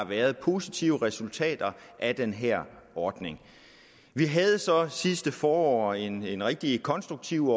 været positive resultater af den her ordning vi havde så sidste forår en en rigtig konstruktiv